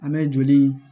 An bɛ joli